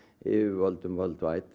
yfirvöldum